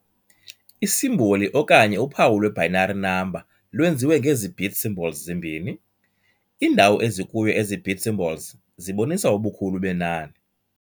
I-simboli okanye uphawu lwe-binary number lwenziwe ngezi-bit symbols zimbini. Iindawo ezikuyo ezi-bit symbols zibonisa ubukhulu benani.